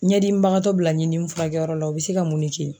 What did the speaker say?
Ɲɛdimibagatɔ bila ɲindimi furakɛyɔrɔ la, u be se ka mun de kɛ!